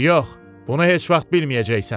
Yox, bunu heç vaxt bilməyəcəksən.